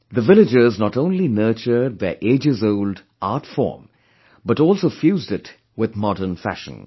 The villagers not only nurtured their agesold art form, but also fused it with modern fashion